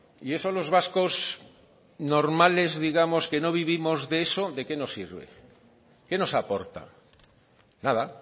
y eso los vascos normales digamos que no vivimos de eso de qué nos sirve qué nos aporta nada